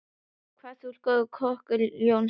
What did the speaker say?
Hvað þú er góður kokkur, Jónsi.